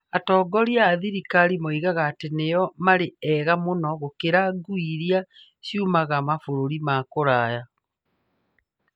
Atongoria a thirikari moigaga atĩ nĩo maarĩ ega mũno gũkĩra ngui iria ciumaga mabũrũri ma kũraya.